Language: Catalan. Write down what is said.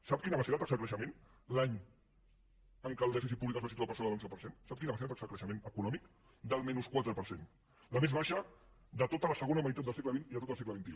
sap quina va ser la taxa de creixement l’any en què el dèficit públic es va situar per sobre de l’onze per cent sap quina va ser la taxa de creixement econòmic del menys quatre per cent la més baixa de tota la segona meitat del segle xx i de tot el segle xxi